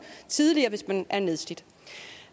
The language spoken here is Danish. tidligere hvis man er nedslidt